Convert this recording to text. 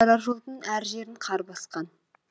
апарар жолдың әр жерін қар басқан